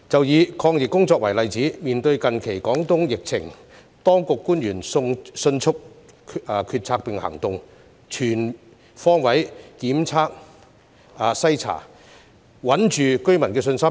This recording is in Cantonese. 以抗疫工作為例子，面對近期廣東疫情，當地官員迅速決策並行動，全方位檢測篩查，穩住居民的信心。